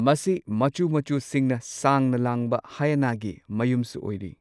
ꯃꯆꯨ ꯃꯆꯨꯁꯤꯡꯅ ꯁꯥꯡꯅ ꯂꯥꯡꯕ ꯍꯥꯏꯏꯅꯒꯤ ꯃꯌꯨꯝꯁꯨ ꯑꯣꯏꯔꯤ꯫